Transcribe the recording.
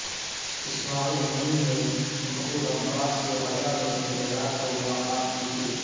اسماعیل Haniyeh نے Mahmoud Abbas سے Gaza میں جمعرات کو ملاقات کی تھی